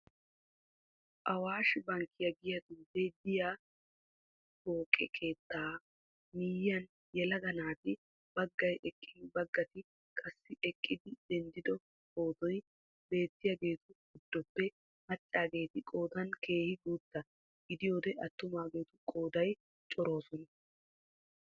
Awashi Bank giya xuufee de'iyi pooqe keettaa miyyuyan yelaga naati baggay eqqin baggati qassi eqqidi denddido pootoy beettiyageetu guddoppe maccaageeti qoodan keehi guutta gidiyode attumaageetu qoidan coroosona.